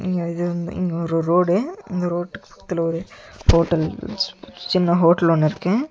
ம் இது வந் இது ஒரு ரோடு இந்த ரோட்டுக்கு பக்கத்துல ஒரு ஹோட்டல் சி சின்ன ஹோட்டல் ஒன்னு இருக்கு.